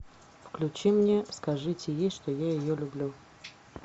включи мне скажите ей что я ее люблю